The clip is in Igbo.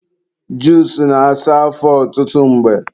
juusu na-asa afọ ọtụtụ mgbe